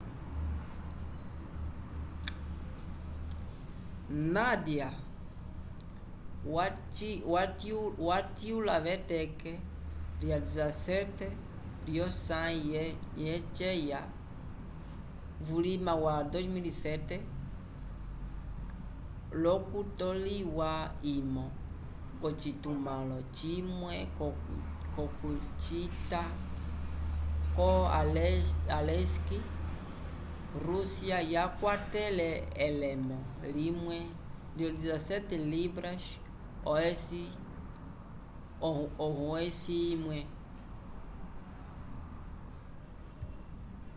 nadia wacityula veteke lya 17 lyosãyi yeceya vulima wa 2007 l'okutoliwa imo k'ocitumãlo cimwe c'okucita vo aleisk rússia yakwatele elemo liwa lyo 17 libras ohosi imwe